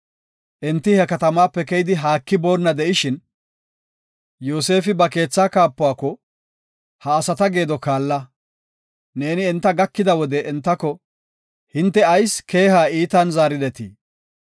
Enti he katamaape keyidi haaki boonna de7ishin, Yoosefi ba keetha kaapuwako, “Ha asata geedo kaalla. Neeni enta gakida wode entako, ‘Hinte ayis keeha iitan zaaridetii?